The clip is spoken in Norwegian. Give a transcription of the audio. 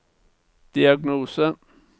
diagnose